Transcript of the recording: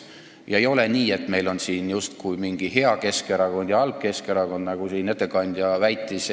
Ja ei ole nii, et meil on justkui mingi hea Keskerakond ja halb Keskerakond, nagu ettekandja siin väitis.